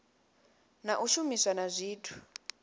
na u shumiswa na zwithu